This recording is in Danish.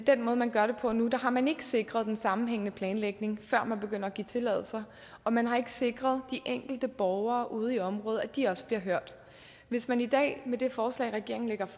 den måde man gør det på nu har man ikke sikret en sammenhængende planlægning før man begynder at give tilladelser og man har ikke sikret de enkelte borgere ude i området at de også bliver hørt hvis man i dag med det forslag regeringen